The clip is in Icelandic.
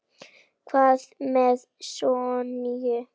Hvað með Sonju?